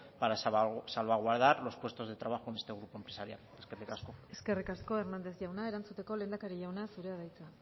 para salvaguardar los puestos de trabajo en este grupo empresarial eskerrik asko eskerrik asko hernández jauna erantzuteko lehendakari jauna zurea da hitza